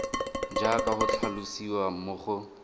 jaaka go tlhalosiwa mo go